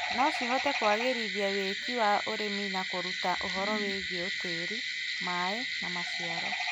no cihote kũagĩrithia wĩki wa ũrĩmi na kũruta ũhoro wĩgie tĩri, maĩ, na maciaro.